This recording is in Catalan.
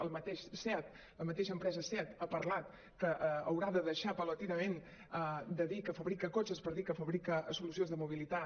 el mateix seat la mateixa empresa seat ha parlat que haurà de deixar gradualment de dir que fabrica cotxes per dir que fabrica solucions de mobilitat